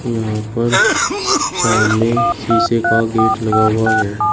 यहां पर सामने शीशे का गेट लगा हुआ है।